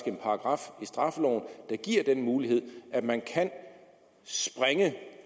en paragraf i straffeloven der giver den mulighed at man kan sprænge